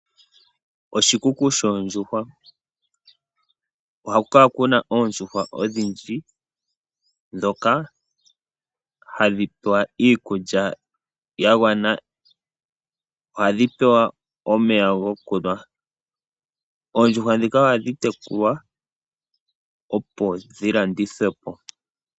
Oshikuku shoondjuhwa ohaku kala kuna oondjuhwa idhindji dhoka hadhi pewa iikulya yagwana. Ohadhi pewa omeya gokunwa, oondjuhwa dhika ohadhi tekulwa opo dhilandidhwepo.